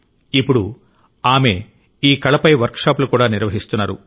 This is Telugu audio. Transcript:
ఇప్పుడు ఆమె ఈ కళపై వర్క్షాపులు కూడా నిర్వహిస్తున్నారు